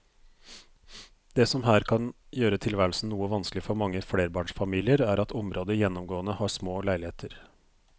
Det som her kan gjøre tilværelsen noe vanskelig for mange flerbarnsfamilier er at området gjennomgående har små leiligheter.